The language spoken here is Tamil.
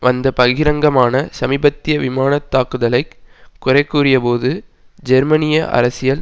வந்து பகிரங்கமாக சமீபத்திய விமான தாக்குதலை குறைகூறியபோது ஜெர்மனிய அரசியல்